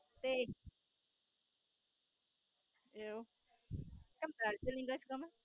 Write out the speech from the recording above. તે. એવું? કેમ દાર્જલિંગ જ કો ને.